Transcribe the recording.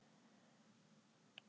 spyr ég hann.